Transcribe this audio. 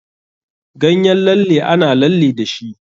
Ganyen lalle ana lalle dashi.